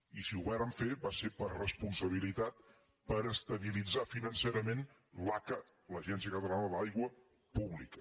i si ho vàrem fer va ser per responsabilitat per estabilitzar financerament l’aca l’agència catalana de l’aigua pública